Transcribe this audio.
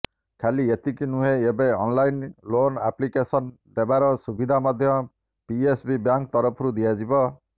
ଖାଲି ଏତିକି ନୁହେଁ ଏବେ ଅନଲାଇନ୍ ଲୋନ୍ ଆପ୍ଲିକେସନ ଦେବାର ସୁବିଧା ମଧ୍ୟ ପିଏସବି ବ୍ୟାଙ୍କ ତରଫରୁ ଦିଆଯିବ